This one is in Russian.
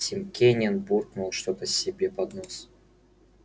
тим кинен буркнул что то себе под нос